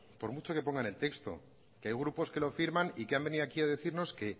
por mucho que ponga en el texto que hay grupos que los firman y que han venido aquí ha decirnos que